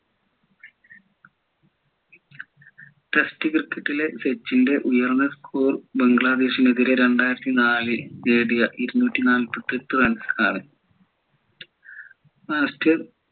test cricket ലെ സച്ചിൻ്റെ ഉയർന്ന score ബംഗ്ലാദേശിനെതിരെ രണ്ടായിരത്തിനാലിൽ നേടിയ ഇരുന്നൂറ്റി നാൽപ്പത്തിയെട്ട് runs ആണ്